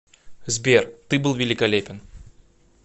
сбер ты был великолепен